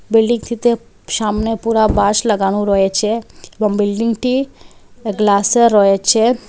বিল্ডিংটিতে সামনে পুরা বাঁশ লাগানো রয়েচে এবং বিল্ডিংটি গ্লাসে রয়েচে ।